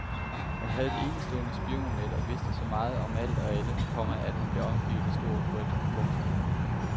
Han havde et enestående spionnet og vidste så meget om alt og alle, komma at han blev omgivet af stor frygt. punktum